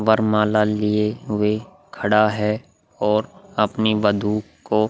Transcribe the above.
वरमाला लिए वे खड़ा है और अपनी वधु को --